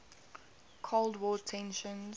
cold war tensions